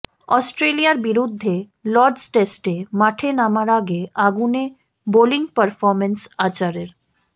অস্ট্রেলিয়ার বিরুদ্ধে লর্ডস টেস্টে মাঠে নামার আগে আগুনে বোলিং পারফর্ম্যান্স আর্চারের